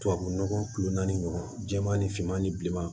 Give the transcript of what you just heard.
Tubabu nɔgɔ kulo naani ɲɔgɔn jɛman ni finman ni bilenman